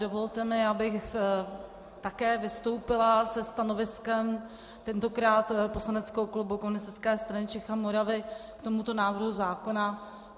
Dovolte mi, abych také vystoupila se stanoviskem, tentokrát poslaneckého klubu Komunistické strany Čech a Moravy, k tomuto návrhu zákona.